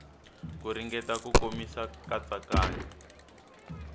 ku ringeta ku komisa katsakanya